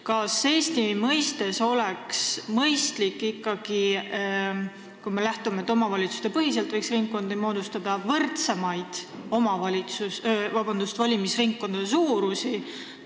Kas Eesti mõistes oleksid mõistlikud – kui me lähtume ikkagi sellest, et ringkondi võiks moodustada omavalitsustepõhiselt – võrdsemad valimisringkondade suurused?